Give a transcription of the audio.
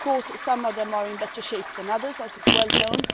Of course some of them are in better shape than others as is well known.